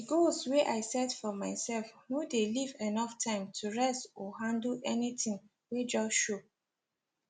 the goals wey i set for myself no dey leave enough time to rest or handle anything wey just show